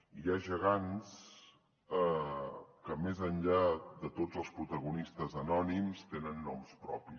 i hi ha gegants que més enllà de tots els protagonistes anònims tenen noms propis